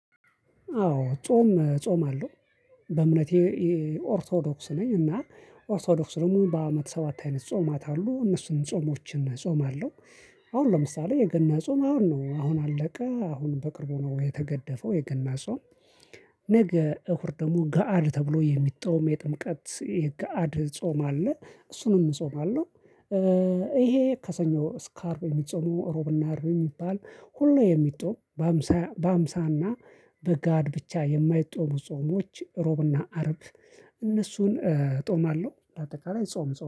አዎ ጾም እጾምአለው በእምነቴ ኦርቶዶክስ ነኝ። እና ኦርቶዶክስ ደግሞ በአመት ሰባት አይነት ጾማአትአሉ እነሱን ጾሞችን እጾማለሁ። አሁን ለምሳሌ የገና ጾም አሁን ነው አሁን አለቀ አሁን በቅርቡ ነው የተገደፈው የገና ጾም። ነገ እሁድ ደግሞ ገአድ ተብሎ የሚጾም የጥምቀት የግሀአድ ጾም አለ እሱንም እጾማለሁ። ይሄ ከሰኞ እስከአርብ የሚጾሙ እሮብና አርብ የሚባል ሁሉ የሚጾሙ። በሃምሳ በሃምሳና በጋድ ብቻ የማይጦሙ ጾሞች ሮብና አርብ። እነሱን እጦማለሁ እንደአጠቃላይ ጾም